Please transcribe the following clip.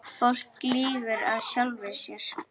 Fólk lýgur að sjálfu sér.